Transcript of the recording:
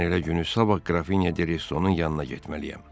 Mən elə günü sabah Qrafine Desto-nun yanına getməliyəm.